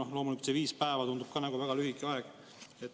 Ja loomulikult see viis päeva tundub ka väga lühike aeg.